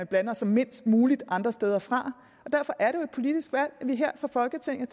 blander sig mindst muligt andre steder fra derfor er det jo et politisk valg at vi her i folketinget